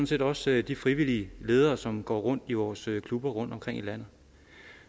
set også de frivillige ledere som går rundt i vores klubber rundtomkring i landet